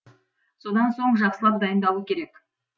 содан соң жақсылап дайындалу керек